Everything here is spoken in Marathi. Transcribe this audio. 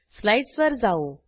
स्लाईडस वर जाऊ